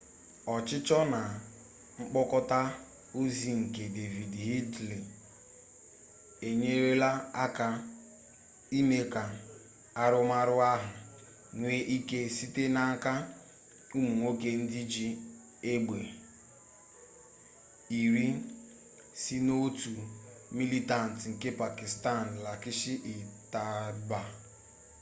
ọchịchọ na mkpokọta ozi nke david headley enyerela aka ime ka arụmarụ ahụ nwee ike site n'aka ụmụ nwoke ndị ji egbe iri si n'otu militantị nke pakịstan laskhar-e-taiba